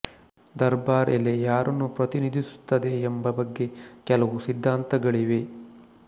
ದರ್ಬಾರ್ ಎಲೆ ಯಾರನ್ನು ಪ್ರತಿನಿಧಿಸುತ್ತದೆ ಎಂಬ ಬಗ್ಗೆ ಕೆಲವು ಸಿದ್ಧಾಂತಗಳಿವೆ